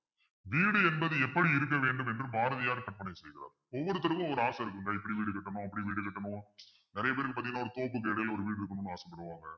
வீடு என்பது எப்படி இருக்க வேண்டும் என்று பாரதியார் கற்பனை செய்கிறார் ஒவ்வொருத்தருக்கும் ஒவ்வொரு ஆசை இருக்குங்க எப்படி வீடு கட்டணும் அப்படி வீடு கட்டணும் நிறைய பேருக்கு பார்த்தீங்கன்னா ஒரு தோப்பு வீடுன்னு ஒரு வீடு இருக்கணும்ன்னு ஆசைப்படுவாங்க